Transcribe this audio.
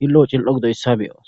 xili'o xili'o gididayssa beyos